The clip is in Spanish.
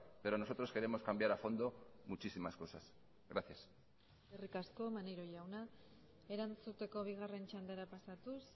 pero nosotros queremos cambiar a fondo muchísimas cosas gracias eskerrik asko maneiro jauna erantzuteko bigarren txandara pasatuz